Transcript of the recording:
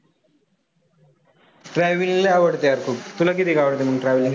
Travelling लय आवडतं यार खूप, तुला किती आवडते मग traveling?